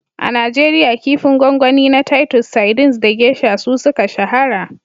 A Najeriya, kifin gwangwani na titus sardines da geisha su suka shahara.